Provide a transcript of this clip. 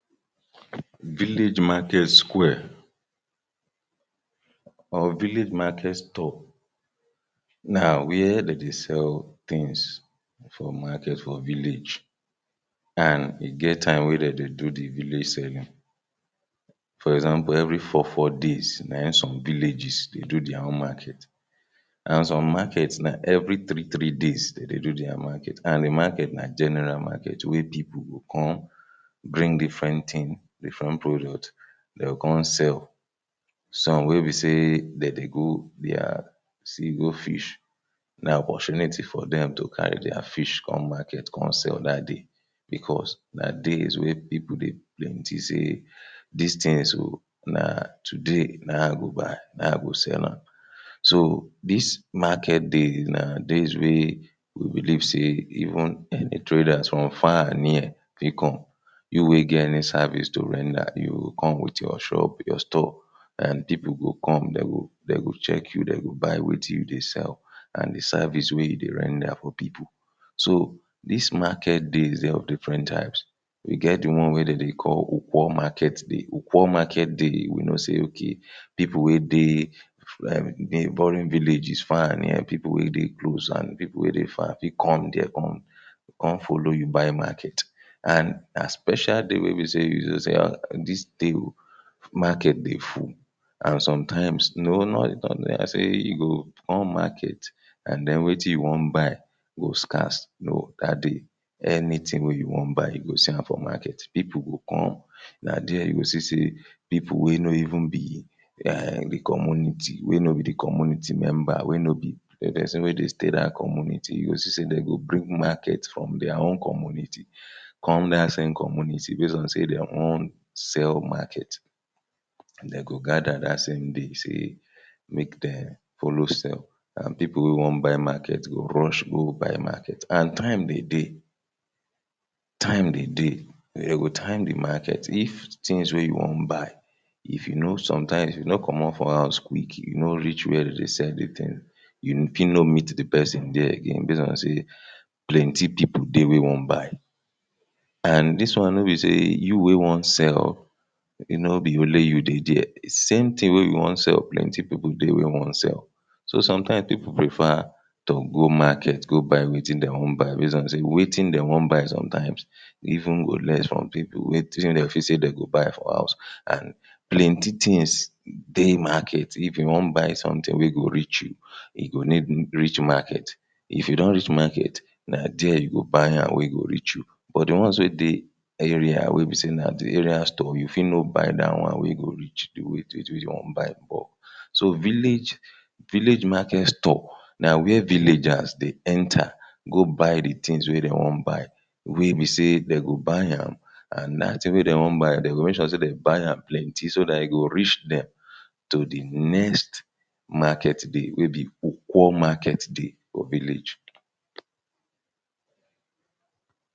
Village market square or village market stall na where dem dey sell tins for market for village and e get time wey dem dey do di village serving for example evri four four days na im some villages dey do dia own market and some market na evri three three days dey do dia market and di market na general market wey pipo go come bring different tins different products dem go come sell some wey be say dey dey go dia sea go fish na wash net for dem to carry dia fish come market come sell dat day because, na days wey pipo dey plenty sey dis tins go na today na im i go buy na im i go sell am so, dis dis market days na days wey we believe sey e even and di traders from far and near dey come you wey get any service to render you go come wit your shop, your stall and pipo go come, dem go dem go check you dem go buy wetin you dey sell and di service wey you dey render for pipo so, dis market days dey of different types e get di one wey dem dey call ukwo market day. Ukwo market dey we know say ok, pipo wey dey like neboring villages far and near, pipo wey dey close and pipo wey dey far fit come there come come follow you buy market and na special day wey be say, you sef know say dis day o market dey full and sometimes??, you go come market and den wetin you wan buy go scarce no, dat day anytin wey you wan buy you go see am for market, pipo go come na there you go see say pipo wey no even be di comuniti, wey no bi di comuniti member wey no bi dey dey say make dem stay dat communiti you go see sey dem go bring market from dia own communiti come dat same communiti base on sey dem wan sell market dem go gather dat same day say make dem follow sell and pipo wey wan buy market go rush go buy market and time dey dey time dey dey dem go time di market if tins wey you wan buy if you know, sometimes if you no comot for house quick, you no reach wia dem dey sell di tins you fit no meet di person there again based on say plenty pipo dey wey wan buy and dis one nobi say you wey wan sell e no bi nobi only you wey dey there di same thing wey you wan sell, plenty pipo dey wey wan sell so sometimes pipo prefer to go market go market wetin dem wan buy base on say wetin dem wan buy sometimes even go less from pipo wey tins wey dem feel say dem go buy for house and, plenty tins dey market if you wan buy sometin wey go reach you you go need reach market. If you don reach market, na there you go buy am wey go reach you but di ones wey dey area wey be say na di area stall you fit no buy dat one wey go reach you do wetin you buy. So, village market stall na wia villagers dey enter go buy di tins wey dem wan buy wey be say dem go buy am and dat tin wey dem wan buy dem go make sure say dem buy am plenty so dat e go reach dem to di next market day wey be ukwo market day for village.